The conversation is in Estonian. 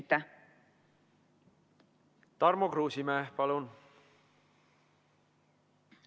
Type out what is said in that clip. Tarmo Kruusimäe, palun!